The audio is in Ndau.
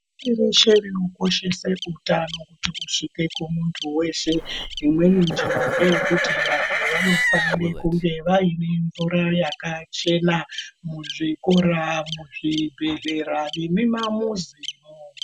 Teshe tinokoshesa utano usvike kune muntu weshe imweni njira ndeye kuti vantu vanofanira kunge vaine mvura yakachena muzvikora muzvibhedhlera nemumamizimo.